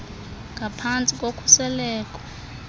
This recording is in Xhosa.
ngaphan tsi kokhuseleko